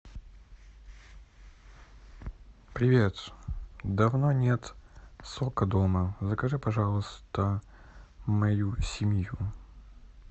привет давно нет сока дома закажи пожалуйста мою семью